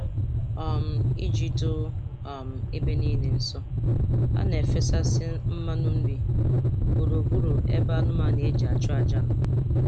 um Iji doo um ebe um niile nsọ, a na-efesasị mmanụ nri gburugburu ebe anụmanụ e ji achụ aja nọ